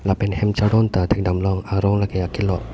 lapen hem chardon ta thek damlong arong lake akelok.